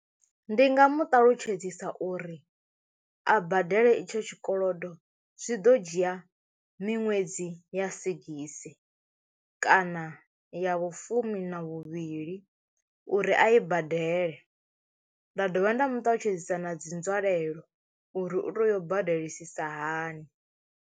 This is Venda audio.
Ndi nga mu ṱalutshedzisa uri a badele itsho tshikolodo zwi ḓo dzhia miṅwedzi ya sigisi kana ya vhufumi na vhuvhili uri a i badele, nda dovha nda mu ṱalutshedzisa na dzi nzwalelo uri u teyo u badelisisa hani.